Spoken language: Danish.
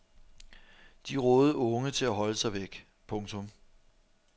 De rådede unge til at holde sig væk. punktum